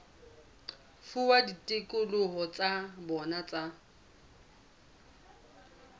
fuwa ditokelo tsa bona tsa